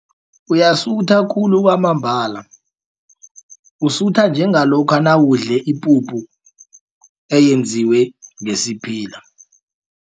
Uyasutha khulu kwamambala usutha njengalokha nawudle ipuphu eyenziwe ngesiphila.